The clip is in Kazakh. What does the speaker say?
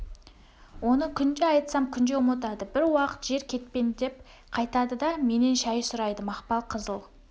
оны күнде айтсам күнде ұмытады бір уақыт жер кетпендеп қайтады да менен шай сұрайды мақпал қызыл